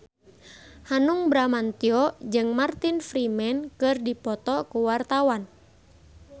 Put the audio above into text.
Hanung Bramantyo jeung Martin Freeman keur dipoto ku wartawan